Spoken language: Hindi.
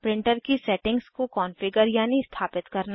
प्रिंटर की सेटिंग्स को कॉन्फ़िगर यानि स्थापित करना